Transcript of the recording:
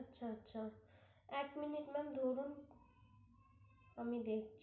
আচ্ছা আচ্ছা এক minuite ma'am ধরুন আমি দেখ,